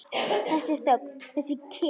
Þessi þögn, þessi kyrrð!